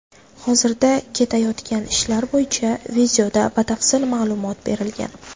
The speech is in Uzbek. Hozirda ketayotgan ishlar bo‘yicha videoda batafsil ma’lumot berilgan.